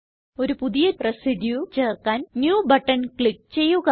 ഒരു പുതിയ റെസിഡ്യൂ ചേർക്കാൻ ന്യൂ ബട്ടൺ ക്ലിക്ക് ചെയ്യുക